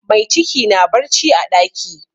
Mai ciki na barci a ɗaki.